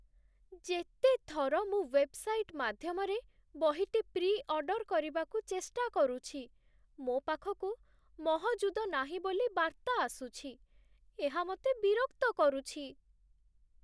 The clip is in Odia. ଯେତେଥର ମୁଁ ୱେବ୍ସାଇଟ୍ ମାଧ୍ୟମରେ ବହିଟି ପ୍ରିଅର୍ଡର୍ କରିବାକୁ ଚେଷ୍ଟା କରୁଛି, ମୋ ପାଖକୁ 'ମହଜୁଦ ନାହିଁ' ବୋଲି ବାର୍ତ୍ତା ଆସୁଛି, ଏହା ମୋତେ ବିରକ୍ତ କରୁଛି।